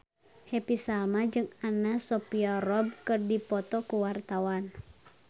Happy Salma jeung Anna Sophia Robb keur dipoto ku wartawan